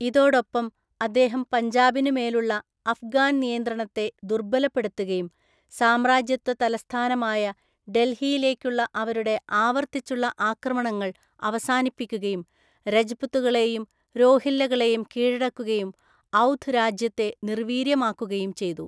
ഇതോടൊപ്പം അദ്ദേഹം പഞ്ചാബിനുമേലുള്ള അഫ്ഗാൻ നിയന്ത്രണത്തെ ദുർബലപ്പെടുത്തുകയും, സാമ്രാജ്യത്വ തലസ്ഥാനമായ ഡൽഹിയിലേക്കുള്ള അവരുടെ ആവർത്തിച്ചുള്ള ആക്രമണങ്ങൾ അവസാനിപ്പിക്കുകയും, രജ്പുത്തുകളെയും രോഹില്ലകളെയും കീഴടക്കുകയും ഔധ് രാജ്യത്തെ നിർവീര്യമാക്കുകയും ചെയ്തു.